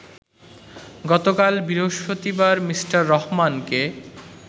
গতকাল বৃহস্পতিবার মিঃ রহমানকে